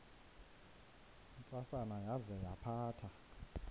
ntsasana yaza yaphatha